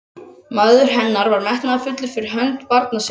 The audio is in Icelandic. Maður hennar var metnaðarfullur fyrir hönd barna sinna.